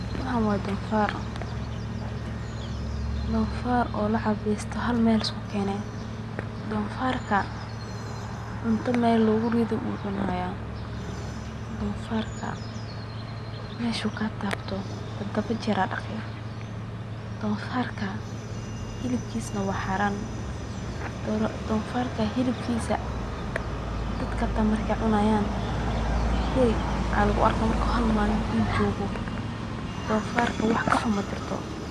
Waxaan waa donfaar, donfaar oo la carbiyeste oo hal meel lisku Keene, dofarka meesha uu kaa taabto tadaba jeer ayaa ladaqaa, hilibkaas waa xaaran, wax ka xun majirto.